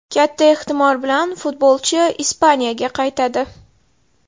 Katta ehtimol bilan futbolchi Ispaniyaga qaytadi.